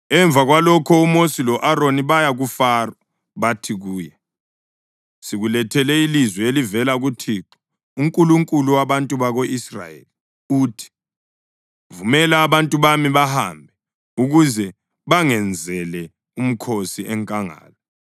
Emva kwalokho uMosi lo-Aroni baya kuFaro. Bathi kuye, “Sikulethele ilizwi elivela kuThixo, uNkulunkulu wabantu bako-Israyeli. Uthi, ‘Vumela abantu bami bahambe, ukuze bangenzele umkhosi enkangala.’ ”